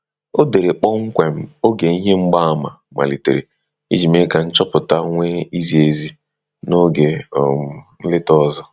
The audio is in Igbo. O dere kpọmkwem oge ihe mgbaàmà malitere iji mee ka nchọpụta nwee izi ezi n'oge um nleta ọzơ